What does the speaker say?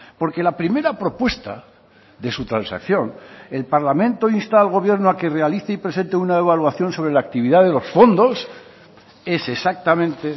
porque la primera propuesta de su transacción el parlamento insta al gobierno a que realice y presente una evaluación sobre la actividad de los fondos es exactamente